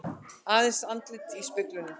Aðeins andlitið í speglinum.